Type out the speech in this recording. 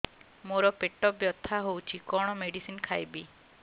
ମୋର ପେଟ ବ୍ୟଥା ହଉଚି କଣ ମେଡିସିନ ଖାଇବି